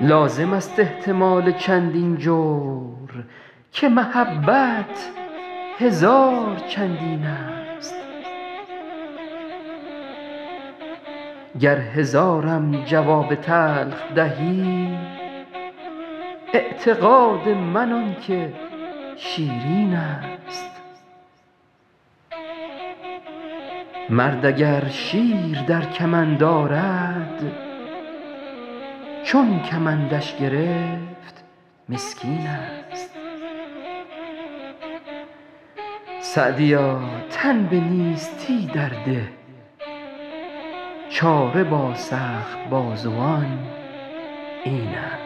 لازم است احتمال چندین جور که محبت هزار چندین ست گر هزارم جواب تلخ دهی اعتقاد من آن که شیرین ست مرد اگر شیر در کمند آرد چون کمندش گرفت مسکین ست سعدیا تن به نیستی در ده چاره با سخت بازوان این ست